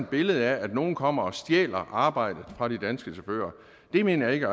billede af at nogle kommer og stjæler arbejdet fra de danske chauffører mener jeg ikke